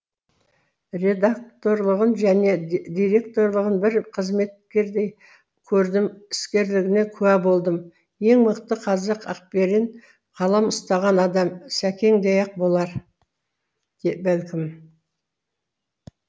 редакторлығын және директорлығын бір қызметкердей көрдім іскерлігіне куә болдым ең мықты қазақ ақберен қалам ұстаған адам сәкеңдей ақ болар бәлкім